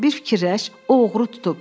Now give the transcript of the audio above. Bir fikirləş, o oğru tutub.